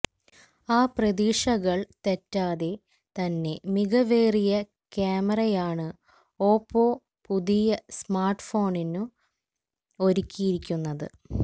ആ പ്രതീക്ഷകള് തെറ്റാതെ തന്നെ മികവേറിയ കാമറയാണ് ഓപ്പോ പുതിയ സ്മാര്ട്ഫോണിനും ഒരുക്കിയിരിക്കുന്നത്